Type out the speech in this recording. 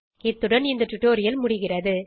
இத்துடன் இந்த டுடோரியல் முடிகிறது